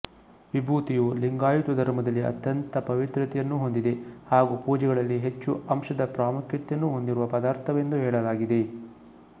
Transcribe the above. ವಿಭೂತಿಯು ಲಿಂಗಾಯುತ ಧರ್ಮದಲ್ಲಿ ಅತ್ಯಂತ ಪವಿತ್ರತೆಯನ್ನುಹೊಂದಿದೆ ಹಾಗು ಪೂಜೆಗಳಲ್ಲಿ ಹೆಚ್ಛು ಅಂಶದ ಪ್ರಾಮುಖ್ಯತೆಯನ್ನು ಹೊಂದಿರುವ ಪದಾರ್ಥವೆಂದು ಹೇಳಲಾಗಿದೆ